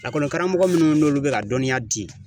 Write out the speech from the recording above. karamɔgɔ minnu n'olu bɛ ka dɔnniya di